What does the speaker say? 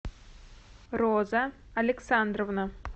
роза александровна